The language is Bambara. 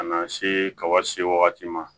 Ka na se ka wa se wagati ma